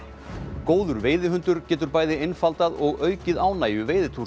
góður veiðihundur getur bæði einfaldað og aukið ánægju